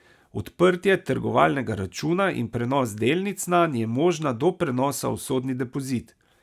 Odprtje trgovalnega računa in prenos delnic nanj je možna do prenosa v sodni depozit.